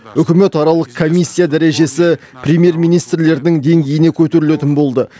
үкіметаралық комиссия дәрежесі премьер министрлердің деңгейіне көтерілетін болды